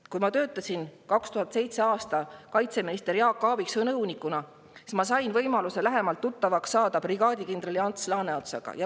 Kui ma töötasin 2007. aastal kaitseminister Jaak Aaviksoo nõunikuna, siis ma sain võimaluse lähemalt tuttavaks saada brigaadikindral Ants Laaneotsaga.